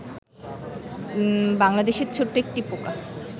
বাংলাদেশের ছোট্ট একটি পোকা